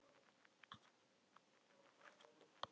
Angi, hversu margir dagar fram að næsta fríi?